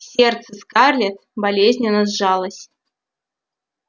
сердце скарлетт болезненно сжалось